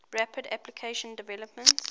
rapid application development